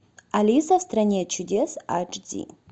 алиса в стране чудес ач ди